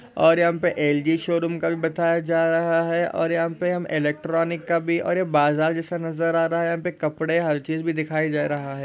और यहाँ पे एल_जी शोरूम का भी बताया जा रहा है। और यहाँ पे हम इलेक्ट्रॉनिक का भी और यह बाजार जैसा नज़र आ रहा है। यहाँ पे कपड़े हर चीज भी दिखाई जा रहा है।